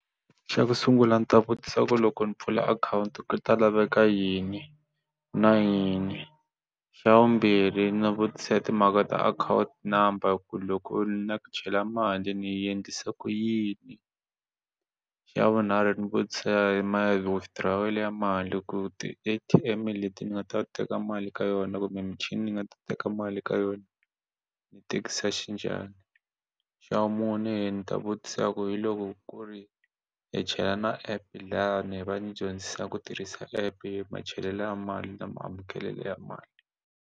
Xa ku sungula ndzi ta vutisa ku loko ni pfula akhawunti ku ta laveka yini na yini xa vumbirhi ndzi vutisa hi timhaka ta akhawunti number ku loko ni lava ku chela mali ni yi endlisa ku yini xa vunharhu ndzi vutisa hi ma withdraw ya mali ku ti-A_T_M leti ni nga ta teka mali ka yona kumbe michini ni nga ta teka mali ka yona ni tekisa xinjhani ni xa vumune ndzi ta vutisa ku hi loko ku ri hi chela na app lani va ndzi dyondzisa ku tirhisa app i machelelo ya mali na ma amukelelo ya mali.